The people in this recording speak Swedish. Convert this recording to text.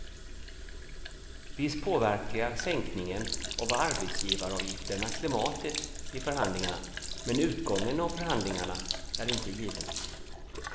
Visst påverkar sänkningen av arbetsgivaravgifterna klimatet i förhandlingarna men utgången av förhandlingarna är inte given.